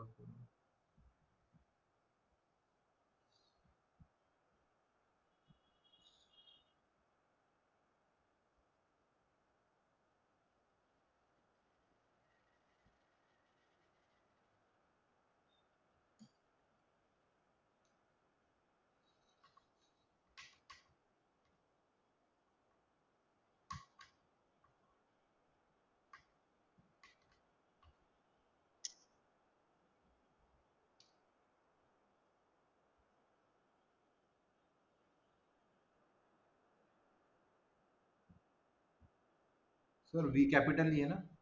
Sir V capital लिहाना?